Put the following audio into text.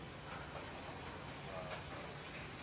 vhona u pfukiwa ha pfanelo